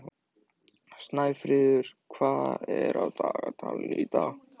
Snæfríð, hvað er á dagatalinu í dag?